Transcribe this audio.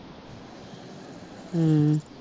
ਅਹ